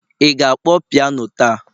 ị ga-akpọ piano taa?